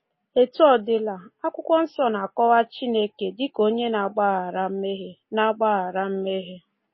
Etu ọ dịla, Akwụkwọ Nsọ na-akọwa Chineke dị ka Onye na-agbaghara mmehie. na-agbaghara mmehie.